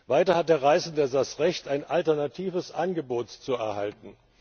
Weiters hat der Reisende das Recht, ein alternatives Angebot zu erhalten.